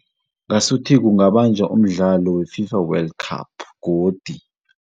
Ngasuthi kungabanjwa umdlalo we-Fifa World Cup godi.